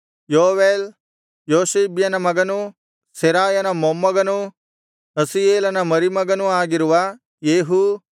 ಯೋವೇಲ್ ಯೊಷಿಬ್ಯನ ಮಗನೂ ಸೆರಾಯನ ಮೊಮ್ಮಗನೂ ಅಸಿಯೇಲನ ಮರಿಮಗನೂ ಆಗಿರುವ ಯೇಹೂ